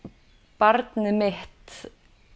barnið mitt